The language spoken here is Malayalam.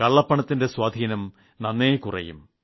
കള്ളപ്പണത്തിന്റെ സ്വാധീനം നന്നേ കുറയും